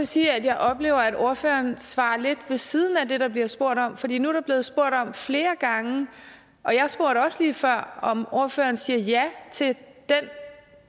sige at jeg oplever at ordføreren svarer lidt ved siden af det der bliver spurgt om fordi nu er der blevet spurgt om flere gange og jeg spurgte også lige før om ordføreren siger ja til